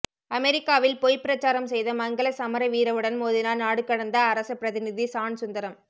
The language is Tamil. அமெரிக்காவில் பொய் பிரச்சாரம் செய்த மங்கள சமரவீரவுடன் மோதினார் நாடுகடந்த அரச பிரதிநிதி சான் சுந்தரம்